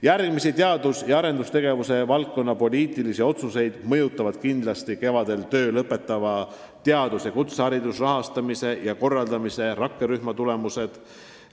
Järgmisi teadus- ja arendustegevuse valdkonna poliitilisi otsuseid mõjutavad kindlasti kevadel töö lõpetava teaduse ja kõrghariduse rahastamise ja korraldamise rakkerühma tulemused.